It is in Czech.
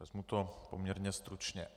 Vezmu to poměrně stručně.